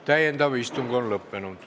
Täiendav istung on lõppenud.